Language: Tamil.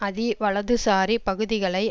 அதி வலதுசாரி பகுதிகளை